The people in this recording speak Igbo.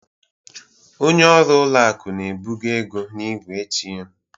Onye ọrụ ụlọ akụ na-ebugo ego n'igwe ATM